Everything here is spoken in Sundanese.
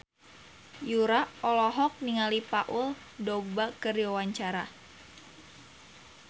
Yura olohok ningali Paul Dogba keur diwawancara